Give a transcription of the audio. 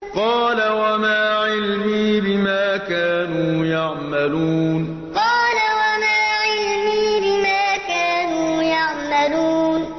قَالَ وَمَا عِلْمِي بِمَا كَانُوا يَعْمَلُونَ قَالَ وَمَا عِلْمِي بِمَا كَانُوا يَعْمَلُونَ